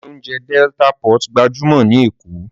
Ilé oúnjẹ Delta pot gbajúmọ̀ ní Èkó